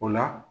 O la